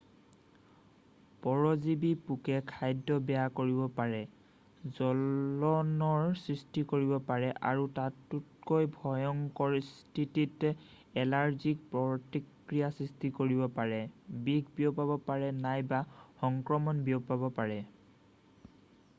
পৰজীৱী পোকে খাদ্য বেয়া কৰিব পাৰে জ্বলনৰ সৃষ্টি কৰিব পাৰে আৰু তাতোকৈ ভয়ংকৰ স্থিতিত এলাৰ্জিক প্ৰতিক্ৰিয়াৰ সৃষ্টি কৰিব পাৰে বিষ বিয়পাব পাৰে নাইবা সংক্ৰমণ বিয়পাব পাৰে